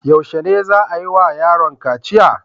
Yaushe za a yi wa yaron kaciya?